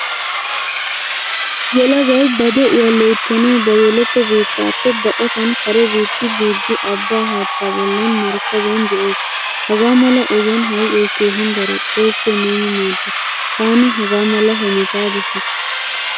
Yelagay ba de'uwaa loyttanawu ba yeletto biittappe baqqattan kare biitta biidi abba haattaa boollan markkabiyan de'ees. Hagaamala ogiyan hayqqoy keehin daro. Xoosso neeni maadda. Taani haga mala hemetta dosiikke.